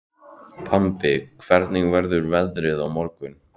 Bambi, hvernig verður veðrið á morgun?